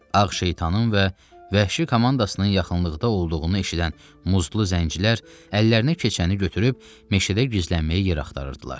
Ağ şeytanın və vəhşi komandasının yaxınlıqda olduğunu eşidən muzdlu zəncilər əllərinə keçəni götürüb meşədə gizlənməyə yer axtarırdılar.